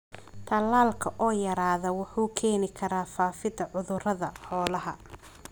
Tallaalka oo yaraada wuxuu keeni karaa faafidda cudurrada xoolaha.